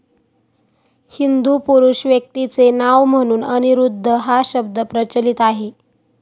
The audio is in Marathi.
हिंदू पुरुष व्यक्तीचे नाव म्हणून अनिरुद्ध हा शब्द प्रचलित आहे.